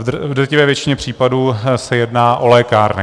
V drtivé většině případů se jedná o lékárny.